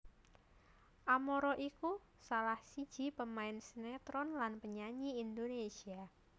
Amara iku salah siji pemain sinétron lan penyanyi Indonésia